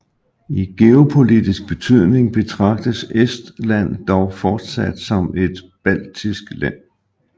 I geopolitisk betydning betragtes Estland dog fortsat som et baltisk land